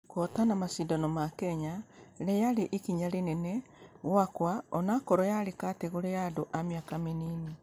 Kũhotama mashidano ma kenya....yarĩ ikinya rĩnene gwaka ũnũkorwo yarĩ kategore ya andũ a mĩaka mĩnini.